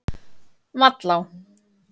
Vallá